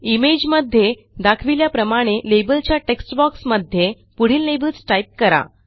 image मध्ये दाखविल्याप्रमाणे लेबलच्या टेक्स्ट बॉक्स मध्ये पुढील लेबल्स टाईप करा